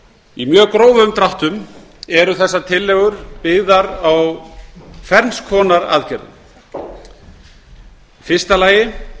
í mjög grófum dráttum eru þær tillögur byggðar á ferns konar aðgerðum í fyrsta lagi